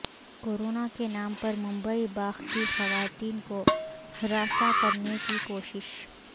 corona کے نام پر ممبئی باغ کی خواتین کو ہراساں کرنےکی کوشش